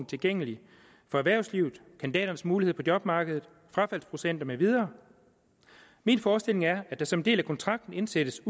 tilgængelig for erhvervslivet kandidaternes mulighed på jobmarkedet frafaldsprocenter med videre min forestilling er at der som en del af kontrakten indsættes